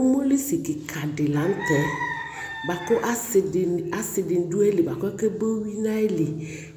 umoli si keka di lantɛ boako ase dini do ayili kebo uwi no ayili